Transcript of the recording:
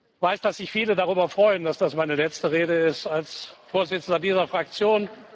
Ich weiß, dass sich viele darüber freuen, dass das meine letzte Rede ist als Vorsitzender dieser Fraktion.